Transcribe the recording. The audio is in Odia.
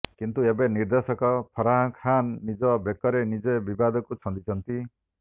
କିନ୍ତୁ ଏବେ ନିର୍ଦ୍ଦେଶକ ଫାର୍ହା ଖାନ୍ ନିଜ ବେକରେ ନଜେ ବିବାଦକୁ ଛନ୍ଦିଛନ୍ତି